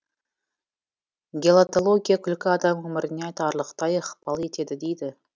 гелатология күлкі адам өміріне айтарлықтай ықпал етеді дейді